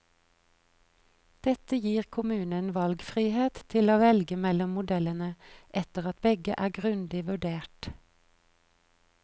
Dette gir kommunen valgfrihet til å velge mellom modellene etter at begge er grundig vurdert.